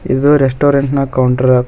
ಇದು ರೆಸ್ಟೋರೆಂಟ್ ನ ಕೌಂಟರ್ --